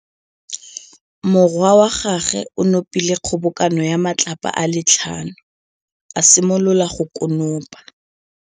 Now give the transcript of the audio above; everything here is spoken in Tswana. Morwa wa gagwe o nopile kgobokanô ya matlapa a le tlhano, a simolola go konopa.